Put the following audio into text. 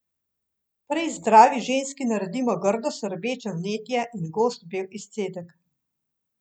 Prej zdravi ženski naredimo grdo srbeče vnetje in gost bel izcedek.